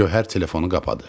Gövhər telefonu qapadı.